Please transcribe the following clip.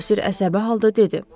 Bosir əsəbi halda dedi.